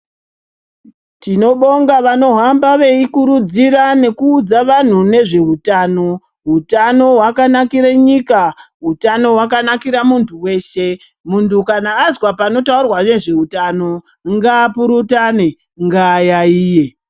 Tinobonga vanohamba nekukurudzira vantu nezve hutano hutano hwakanakira nyika hutano hwakanakira muntu weshe muntu kana wazwa panotaura nezvehutano ungapurutane ngayaiye.